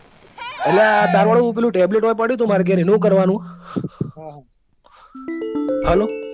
અલ્યા તાર વાળું પેલું tablet ઓય પડ્યું હતું એનું શું કરવા નું?